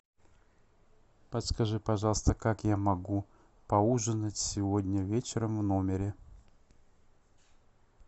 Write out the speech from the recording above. подскажи пожалуйста как я могу поужинать сегодня вечером в номере